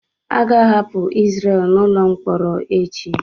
A ga-ahapụ Izrel n'ụlọ mkpọrọ echi.